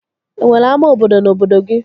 E nwere ama obodo na obodo gị?